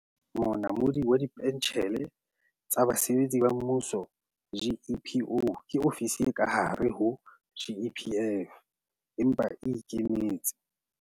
Monamodi wa Dipentjhele tsa Basebetsi ba Mmuso, GEPO, ke ofisi e ka hare ho GEPF, empa e e ikemetse.